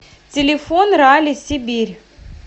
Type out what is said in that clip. телефон ралли сибирь